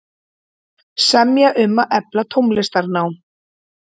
Semja um að efla tónlistarnám